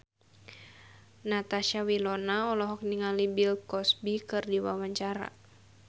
Natasha Wilona olohok ningali Bill Cosby keur diwawancara